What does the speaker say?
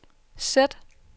sæt